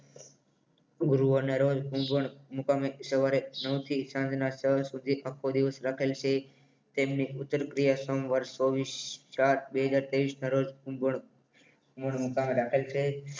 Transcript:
ગુરૂવારના રોજ ઉંઘવણ મુકામે સવારે નવ થી સાંજના છ સુધી આખો દિવસ રાખેલ છે તેમની ઉજ્જવલ ક્રિયા સમવર્ષ ચોવીશ ચાર બે હજાર ત્રેવીસ ના રોજ ઊંઘવાણ ઊંઘવાણ મુકામે રાખેલ છે